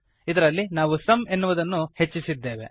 ಇದರಲ್ಲಿ ನಾವು ಸುಮ್ ಎನ್ನುವುದನ್ನು ಹೆಚ್ಚಿಸಿದ್ದೇವೆ